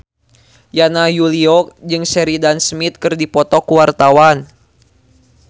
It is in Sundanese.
Yana Julio jeung Sheridan Smith keur dipoto ku wartawan